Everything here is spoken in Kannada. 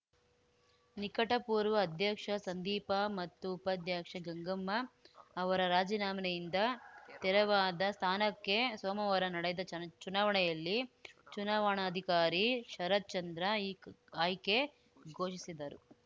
ನಿಕಟಪೂರ್ವ ಅಧ್ಯಕ್ಷ ಸಂದೀಪ ಮತ್ತು ಉಪಾಧ್ಯಕ್ಷೆ ಗಂಗಮ್ಮ ಅವರ ರಾಜಿನಾಮೆನೆಯಿಂದ ತೆರವಾದ ಸ್ಥಾನಕ್ಕೆ ಸೋಮವಾರ ನಡೆದ ಚನ್ ಚುನಾವಣೆಯಲ್ಲಿ ಚುನಾವಣಾಧಿಕಾರಿ ಶರತ್‌ಚಂದ್ರ ಈ ಆಯ್ಕೆ ಘೋಷಿಸಿದರು